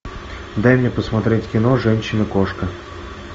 дай мне посмотреть кино женщина кошка